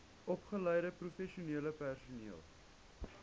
opgeleide professionele personeel